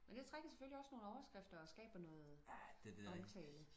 men det trækker selvfølgelig også nogle overskrifter og skaber noget omtale